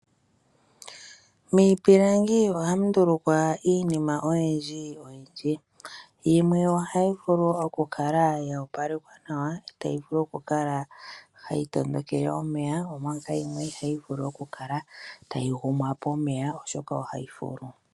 Miipilangi ohamu ndulukwa iinima oyindji oyindji. Yimwe ohayi vulu okukala ya opalekwa nawa, tayi vulu okukala hayi tondokele omeya, omanga yimwe ihayi vulu okukala ya gumwa pomeya, oshoka ohayi fulu.